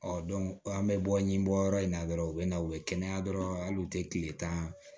an bɛ bɔ ɲibɔ yɔrɔ in na dɔrɔn u bɛ na u bɛ kɛnɛya dɔrɔn hali u tɛ tile tan